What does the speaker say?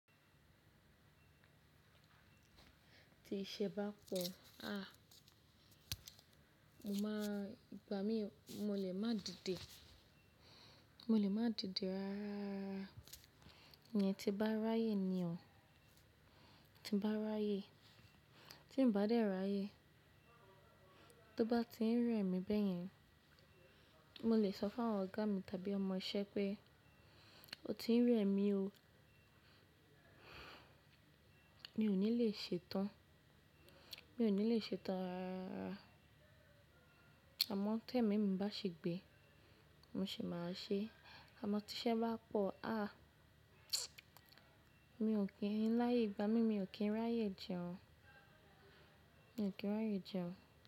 Tí iṣẹ́ bá pọ̀, aàh, mo máa, ìgbà mí mo lè máa dìde. Mo lè máa dìde rárá. Ìyẹn tí ń bá ráyè ni o, tí ń bá ráyè. Tí ń bá dé ráyè, tó bá ti ń rẹ̀ mí bẹ́yẹn, mo lè sọ fún awon ọ̀gá mi tàbí ọmọ iṣẹ́ pé "o ti ń rẹ̀ mí o". Mi ò ní lè ṣe tán, mi ò ní lè ṣe tán rárá. Àmọ́ tó ẹ̀mí mi bá ṣi gbé, mo sì máa ṣe. Àmọ́ tí iṣẹ́ bá pọ̀, aàh, mi ò kí ń láyé ìgbà mí, mi ò kí ń ráyè jẹun. Mi ò kí ń ráyè jẹun.